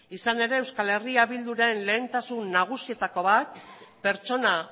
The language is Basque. izan ere eh bilduren lehentasun nagusietako bat pertsona